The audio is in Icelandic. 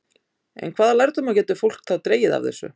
En hvaða lærdóma getur fólk þá dregið af þessu?